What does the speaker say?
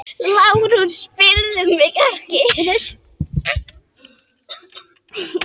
LÁRUS: Spyrðu mig ekki!